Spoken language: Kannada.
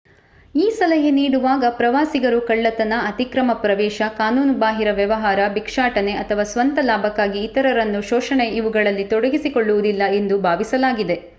ಈ ಸಲಹೆ ನೀಡುವಾಗ ಪ್ರವಾಸಿಗರು ಕಳ್ಳತನ ಅತಿಕ್ರಮ ಪ್ರವೇಶ ಕಾನೂನುಬಾಹಿರ ವ್ಯವಹಾರ ಬಿಕ್ಷಾಟನೆ ಅಥವಾ ಸ್ವಂತ ಲಾಭಕ್ಕಾಗಿ ಇತರರನ್ನು ಶೋಷಣೆ ಇವುಗಳಲ್ಲಿ ತೊಡಗಿಕೊಳ್ಳುವುದಿಲ್ಲ ಎಂದು ಭಾವಿಸಲಾಗಿದೆ